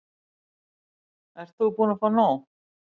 Ert þú búin að fá nóg?